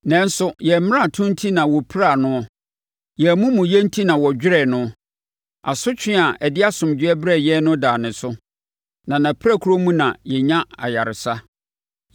Nanso, yɛn mmarato enti na wɔpiraa noɔ, yɛn amumuyɛ enti na wɔdwerɛɛ no; asotwe a ɛde asomdwoeɛ brɛɛ yɛn no daa no so, na nʼapirakuro mu na yɛnya ayaresa.